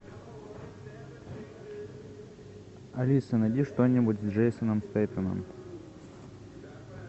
алиса найди что нибудь с джейсоном стейтемом